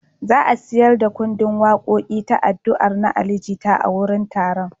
Za a sayar da ƙundin waƙoƙi ta “Addu’ar” na Ali Jita a wurin taron.